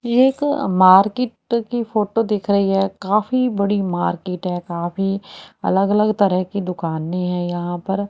एक मार्केट की फोटो दिख रही है काफी बड़ी मार्केट है काफी अलग अलग तरह की दुकानें हैं यहां पर--